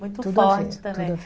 Muito forte também.